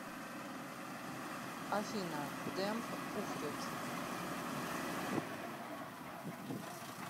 афина демб ухрет